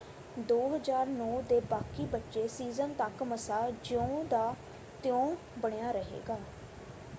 2009 ਦੇ ਬਾਕੀ ਬਚੇ ਸੀਜ਼ਨ ਤੱਕ ਮਸਾ ਜਿਉਂ ਤਾਂ ਤਿਉਂ ਬਣਿਆ ਰਹੇਗਾ।